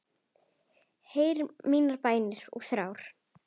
Heyr mínar bænir og þrár.